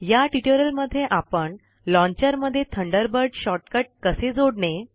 या ट्यूटोरियल मध्ये आपण लॉन्चर मध्ये थंडरबर्ड शॉर्टकट जोडणे